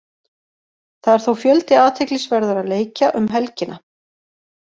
Það er þó fjöldi athyglisverðra leikja um helgina.